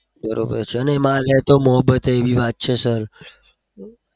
બરોબર છે? અને એમાં અત્યાર તો મહોબ્બત એ એવી વાત છે sir